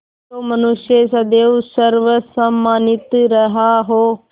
जो मनुष्य सदैव सर्वसम्मानित रहा हो